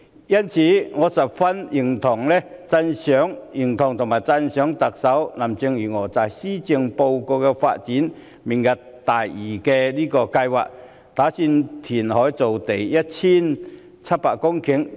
因此，我十分認同和讚賞特首林鄭月娥在施政報告提出明日大嶼計劃，打算填海造地 1,700 公頃。